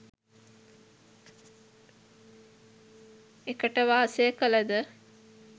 එකට වාසය කළද